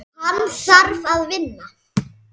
Hann þarf að vinna.